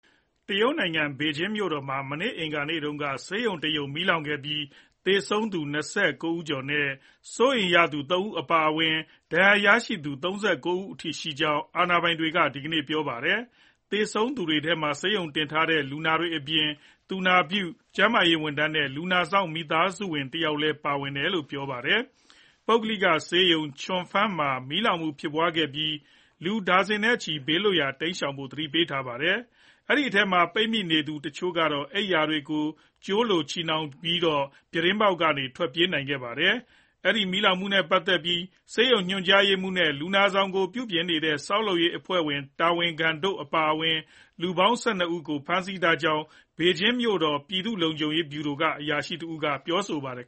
တရုတ်နိုင်ငံ ဘေကျင်းမြို့တော်မှာ မနေ့ အင်္ဂါနေ့တုန်းက ဆေးရုံတရုံ မီးလောင်ခဲ့ပြီး သေဆုံးသူ ၂၉ ကျော် နဲ့ စိုးရိမ်ရသူ ၃ ဦး အပါအဝင် ဒဏ်ရာရသူက ၃၉ အထိရှိကြောင်း အာဏာပိုင်တွေက ဒီကနေ့ ပြောပါတယ်။ သေဆုံးသူတွေထဲမှာ ဆေးရုံတင်ထားတဲ့ လူနာတွေအပြင် သူနာပြု၊ ကျန်းမာရေးဝန်ထမ်းနဲ့ လူနာစောင့်မိသားစုဝင်တယောက်လည်း ပါဝင်တယ်လို့လည်း ပြောပါတယ်။ ပုဂ္ဂလိကဆေးရုံ Changfeng မှာ မီးလောင်မှု ဖြစ်ခဲ့ပြီး လူဒါဇင်နဲ့ချီကို ဘေးလွတ်ရာ တိမ်းရှောင်ဖို့ သတိပေးခဲ့ရပါတယ်။ အထဲမှာ ပိတ်မိနေတဲ့ တချို့သူတွေကတော့ အိပ်ယာခင်းတွေကို ချည်၊ ကြိုးအဖြစ်သုံးပြီး ပြတင်းပေါက်ကနေတဆင့် ထွက်ပြေးခဲ့ရပါတယ်။ အဲဒီမီးလောင်မှုနဲ့ပတ်သက်ပြီး ဆေးရုံညွှန်ကြားရေးမှူး နဲ့ လူနာဆောင်ကို ပြုပြင်နေကြတဲ့ ဆောက်လုပ်ရေးအဖွဲ့ တာဝန်ခံတို့ အပါအဝင် လူပေါင်း ၁၂ ဦးကို ဖမ်းဆီးထားကြောင်း ဘေဂျင်းမြို့တော် ပြည်သူ့လုံခြုံရေးဗျူရိုက အရာရှိတယောက် က ပြောပါတယ်